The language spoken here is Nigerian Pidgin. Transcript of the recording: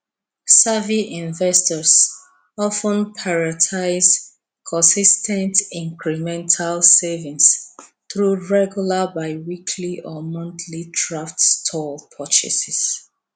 savvy investors of ten prioritize consis ten t incremental savings through regular biweekly or monthly thrift store purchases